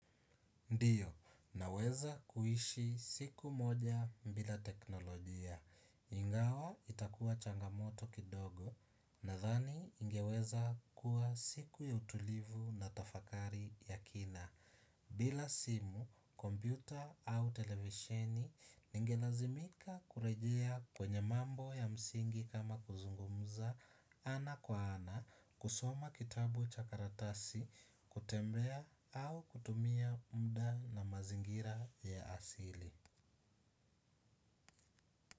Ndio, naweza kuishi siku moja bila teknolojia. Ingawa itakua changamoto kidogo nadhani ingeweza kuwa siku ya utulivu na tafakari ya kina. Bila simu, kompyuta au televisheni ningelazimika kurejea kwenye mambo ya msingi kama kuzungumza ana kwa ana, kusoma kitabu cha karatasi, kutembea au kutumia muda na mazingira ya asili.